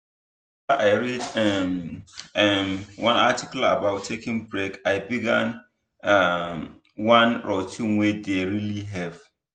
after i read um um one article about taking break i begin um one routine wey dey really help.